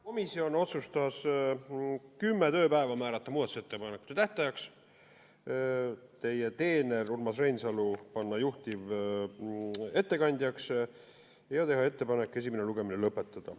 Komisjon otsustas kümme tööpäeva määrata muudatusettepanekute tähtajaks, teie teener Urmas Reinsalu panna juhtivettekandjaks ja teha ettepanek esimene lugemine lõpetada.